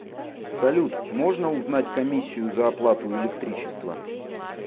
салют можно узнать комиссию за оплату электричества